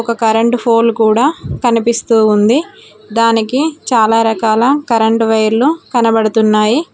ఒక current pole కూడా కనిపిస్తోంది దానికి చాలా రకాల కరెంటు వైర్లు కనబడుతున్నాయి.